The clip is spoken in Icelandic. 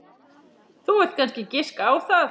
Þú vilt kannski giska á það.